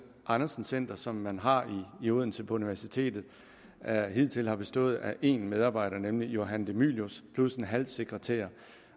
andersen centret som man har i odense på universitetet hidtil har bestået af én medarbejder nemlig johan de mylius plus en halv sekretærstilling